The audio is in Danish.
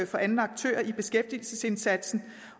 for anden aktør i beskæftigelsesindsatsen